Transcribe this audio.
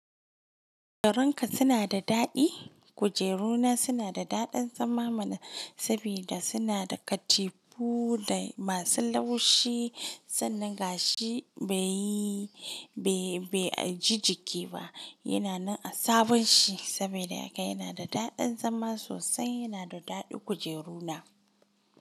Kujerun ka suna da daɗi? Kujeru na suna da daɗin zama mana sabida suna da katifu da masu laushi sannan gashi bai, bai, bai ji jiki ba. Yana nan a sabon shi sabida haka yana da daɗin zama sosai. Yana da daɗin kujeru na.